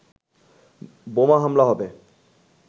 বোমা হামলা হবে